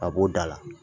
A b'o da la